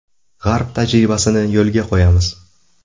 G‘arb tajribasini yo‘lga qo‘yamiz.